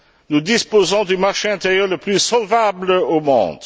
Nous disposons du marché intérieur le plus solvable au monde.